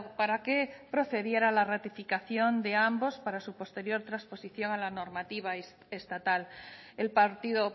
para que procediera la ratificación de ambas para su posterior transposición a la normativa estatal el partido